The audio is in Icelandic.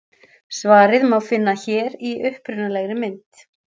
Svarið má finna hér í upprunalegri mynd.